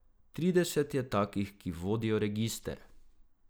Trideset je takih, ki vodijo register.